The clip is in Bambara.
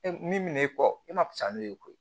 E min min'e kɔ e ma fisa n'o ye koyi